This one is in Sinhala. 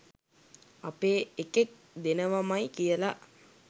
අපෙ එකෙක් දෙනවමයි කියලා.